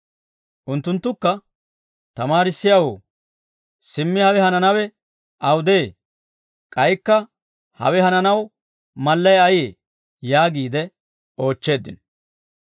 Unttunttukka, «Tamaarissiyaawoo, simmi hawe hananawe awudee? K'aykka hawe hananaw mallay ayee?» yaagiid oochcheeddino.